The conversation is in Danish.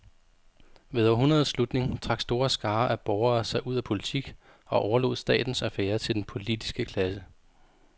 Ved århundredets slutning trak store skarer af borgere sig ud af politik og overlod statens affærer til den politiske klasse.